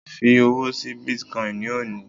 fi owó sí bitcoin ni oni